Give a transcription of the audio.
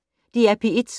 DR P1